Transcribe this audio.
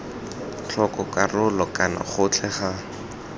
tlhoko karolo kana gotlhe ga